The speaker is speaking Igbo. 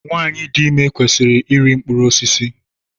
Nwaanyị dị ime kwesịrị iri mkpụrụ osisi.